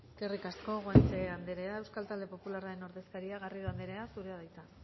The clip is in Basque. eskerrik asko guanche anderea euskal talde popularraren ordezkaria garrido anderea zurea da hitza